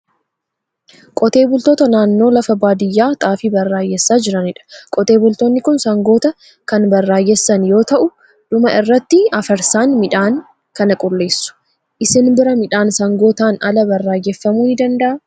Qotee bultoota naannoo lafa baadiyaa xaafii baraayessaa jiranidha. Qotee bultoonni kun sangoota kan baraayessan yoo ta'u, dhuma irratti afarsaan midhaan kana qulleessu. Isin biraa midhaan sangootaan ala baraayeffamuu ni danda'a?